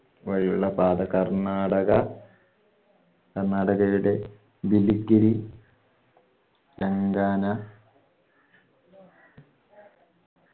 വഴിയുള്ള പാത കർണാടക കർണാടകയുടെ ദിലിക്കിരി തെലങ്കാന